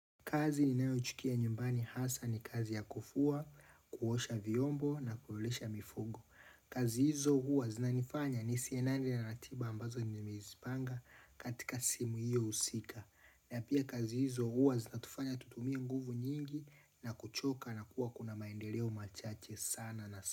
Kazi ninayochukia nyumbani hasa ni kazi ya kufua, kuosha vyombo na kuolesha mifogo. Kazi hizo huwa zinanifanya nisiendane na ratiba ambazo nimezipanga katika simu hiyo husika. Na pia kazi hizo huwa zinatufanya tutumie nguvu nyingi na kuchoka na kuwa kuna maendeleo machache sana na sana.